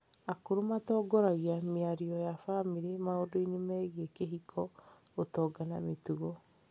Akũrũ matongoragia mĩario ya bamĩrĩ maũndũ-inĩ megiĩ kĩhiko, ũtonga, na mĩtugo.